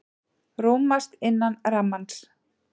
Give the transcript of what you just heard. Rúmast innan rammans